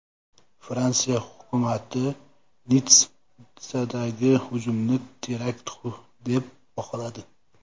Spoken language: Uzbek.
Fransiya hukumati Nitssadagi hujumni terakt deb baholadi.